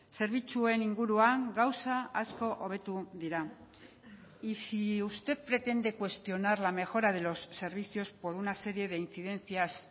zerbitzuen inguruan gauza asko hobetu dira y si usted pretende cuestionar la mejora de los servicios por una serie de incidencias